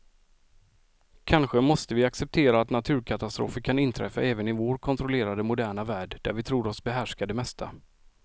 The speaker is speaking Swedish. Kanske måste vi acceptera att naturkatastrofer kan inträffa även i vår kontrollerade, moderna värld där vi tror oss behärska det mesta.